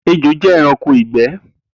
Ejo jẹ ẹranko igbẹ.